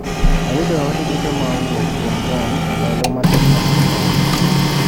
Ayudo ote duto ma owuok kuom Ron e ndal matocn mokekalo.